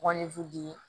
Walefu de ye